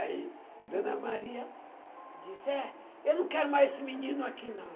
Aí Dona Maria disse, é, eu não quero mais esse menino aqui, não.